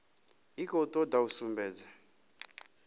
i khou toda u sumbedza